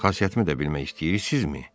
Xasiyyətimi də bilmək istəyirsinizmi?